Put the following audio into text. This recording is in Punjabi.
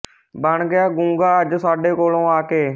ਬਣ ਗਿਆ ਗੂੰਗਾ ਅੱਜ ਸਾਡੇ ਕੋਲੇ ਆ ਕੇ